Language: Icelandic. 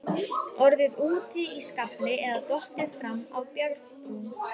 Orðið úti í skafli eða dottið fram af bjargbrún.